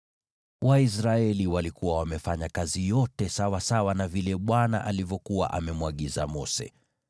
Waisraeli walikuwa wamefanya kazi yote sawasawa na vile Bwana alivyokuwa amemwagiza Mose.